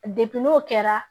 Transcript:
n'o kɛra